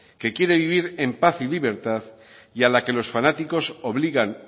que quiere vivir en paz y libertad y a la que los fanáticos obligan